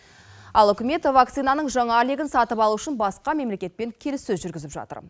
ал үкімет вакцинаның жаңа легін сатып алу үшін басқа мемлекетпен келіссөз жүргізіп жатыр